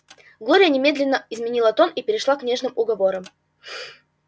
глория немедленно изменила тон и перешла к нежным уговорам